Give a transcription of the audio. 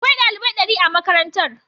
Akwai dalibai dari a makarantar.